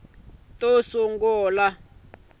to sungula ti ta va